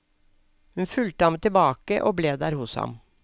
Hun fulgte ham tilbake og ble der hos ham.